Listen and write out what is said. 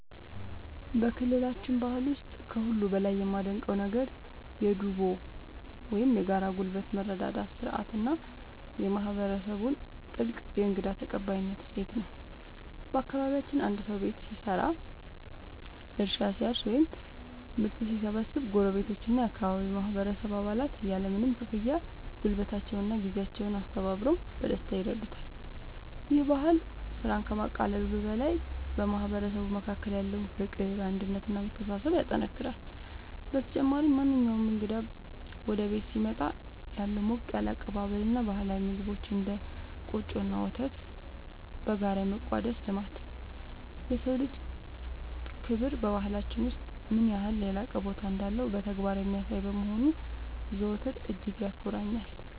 በክልላችን ባህል ውስጥ ከሁሉ በላይ የማደንቀው ነገር የ"ዱቦ" (Dubo) ወይም የጋራ ጉልበት መረዳዳት ሥርዓት እና የማህበረሰቡን ጥልቅ የእንግዳ ተቀባይነት እሴት ነው። በአካባቢያችን አንድ ሰው ቤት ሲሰራ፣ እርሻ ሲያርስ ወይም ምርት ሲሰበስብ ጎረቤቶችና የአካባቢው ማህበረሰብ አባላት ያለምንም ክፍያ ጉልበታቸውንና ጊዜያቸውን አስተባብረው በደስታ ይረዱታል። ይህ ባህል ስራን ከማቃለሉ በላይ በማህበረሰቡ መካከል ያለውን ፍቅር፣ አንድነት እና መተሳሰብ ያጠናክራል። በተጨማሪም፣ ማንኛውም እንግዳ ወደ ቤት ሲመጣ ያለው ሞቅ ያለ አቀባበል እና ባህላዊ ምግቦችን (እንደ ቆጮ እና ወተት) በጋራ የመቋደስ ልማድ፣ የሰው ልጅ ክብር በባህላችን ውስጥ ምን ያህል የላቀ ቦታ እንዳለው በተግባር የሚያሳይ በመሆኑ ዘወትር እጅግ ያኮራኛል።